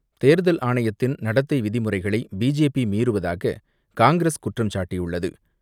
தேர்தல் ஆணையத்தின் நடத்தை விதிமுறைகளை பிஜேபி மீறுவதாக காங்கிரஸ் குற்றம் சாட்டியுள்ளது.